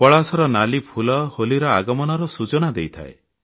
ପଳାଶର ନାଲି ଫୁଲ ହୋଲିର ଆଗମନର ସୂଚନା ଦେଇଥାଏ